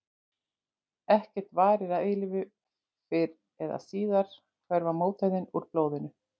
En ekkert varir að eilífu, fyrr eða síðar hverfa mótefnin úr blóðinu.